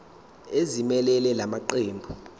ezimelele la maqembu